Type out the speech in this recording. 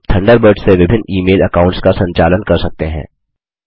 आप थंडरबर्ड से विभिन्न ई मेल अकाउंट्स का संचालन कर सकते हैं